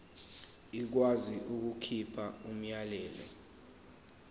ikwazi ukukhipha umyalelo